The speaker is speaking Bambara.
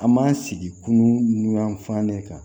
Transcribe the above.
An m'an sigi kunun n'u yanfannen kan